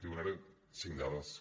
li donaré cinc dades que